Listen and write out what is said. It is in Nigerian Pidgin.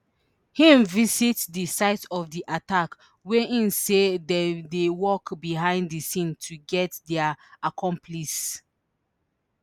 im visit di site of the attack wia im say dem dey work behind di scene to get dia accomplices